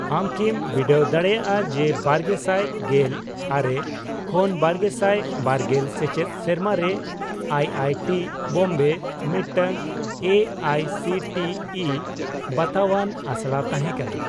ᱟᱢ ᱠᱤᱢ ᱵᱤᱰᱟᱹᱣ ᱫᱟᱲᱮᱜᱼᱟ ᱡᱮ ᱵᱟᱨᱜᱮᱥᱟᱭ ᱜᱮᱞ ᱟᱨᱮ ᱠᱷᱚᱱ ᱵᱟᱨᱜᱮᱥᱟᱭ ᱵᱟᱨᱜᱮᱞ ᱥᱮᱪᱮᱫ ᱥᱮᱨᱢᱟᱨᱮ ᱟᱭ ᱟᱭ ᱴᱤ ᱵᱳᱢᱵᱮ ᱢᱤᱫᱴᱟᱝ A I C T E ᱵᱟᱛᱟᱣᱟᱱ ᱟᱥᱲᱟ ᱛᱟᱦᱮᱸ ᱠᱟᱱᱟ ?